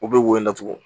U bɛ woyo